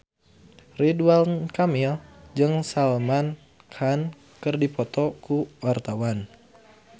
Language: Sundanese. Ridwan Kamil jeung Salman Khan keur dipoto ku wartawan